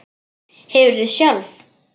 Hefurðu sjálf.?